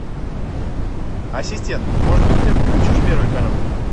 ассистент может быть ты включишь первый канал